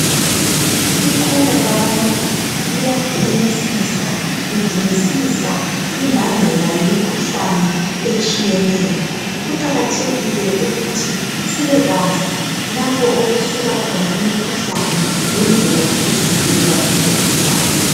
Iqula labantu, liyaphenyisisa ,lidingisisa imbangela yemikhuhlane etshiyeneyo. Kuqakathekile ukuthi sibekwazi lapho okusuka khona imikhuhlane, lendlela zokuvikela limikhuhlane.